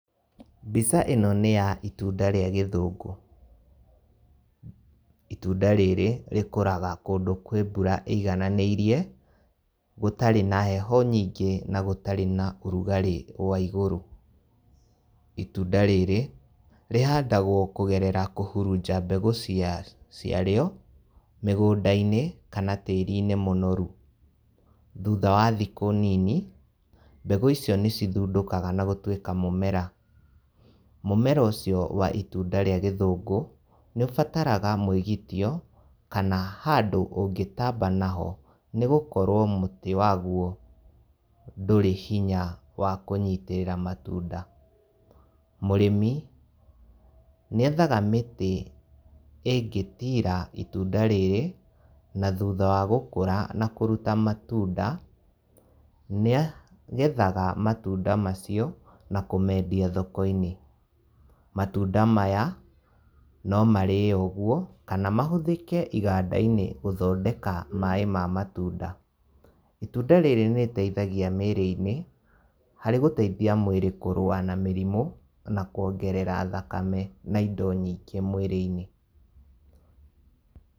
Mbica ĩno nĩya itunda rĩa gĩthungũ. Itunda rĩrĩ, rĩkũraga kũndũ kwĩ mbura ĩigananĩirie, gũtarĩ na heho nyingĩ, na gũtarĩ na ũrugarĩ wa igũrũ. itunda rĩrĩ, rĩhandagwo kũgerera kũhũrunja mbegũ cia cia rĩo, mĩgũndainĩ, kana tĩrinĩ mũnoru. Thutha wa thikũ nini, mbegũ icio nĩcithundũkaga na gũtuĩka mũmera. Mũmera ũcio wa itunda rĩa gĩthũngũ, nĩũbataraga mwĩgĩtio, kana handũ ũngĩtamba naho. Nĩgũkorwo mũtĩ waguo ndũrĩ hinya wa kũnyitĩrĩra matunda. Mũrĩmi, nĩethaga mĩtĩ ĩngĩtira itunda rĩrĩ, na thutha wa gũkũra na kũruta matunda, nĩa nĩagethaga matunda macio, nakũmendia thokoinĩ. Matunda maya, no marĩo ũgũo, kana mahũthĩke igandainĩ gũthondeka maĩ ma matunda. Itunda rĩrĩ nĩrĩteithagia mĩrĩinĩ, harĩ gũteithia mwĩrĩ kũrua na mĩrimũ, na kwongerera thakame na indo nyingĩ mwĩrĩinĩ.